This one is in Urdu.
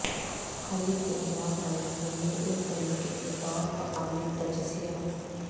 حریف کے خلاف لڑنے کے لئے ایک طریقہ کے طور تقابلی تجزیہ